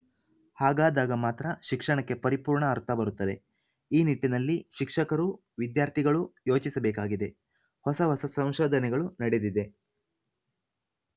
ಹಾಗಾದಾಗ ಮಾತ್ರ ಶಿಕ್ಷಣಕ್ಕೆ ಪರಿಪೂರ್ಣ ಅರ್ಥ ಬರುತ್ತದೆ ಈ ನಿಟ್ಟಿನಲ್ಲಿ ಶಿಕ್ಷಕರೂ ವಿದ್ಯಾರ್ಥಿಗಳೂ ಯೋಚಿಸಬೇಕಾಗಿದೆ ಹೊಸ ಹೊಸ ಸಂಶೋಧನೆಗಳು ನಡೆದಿದೆ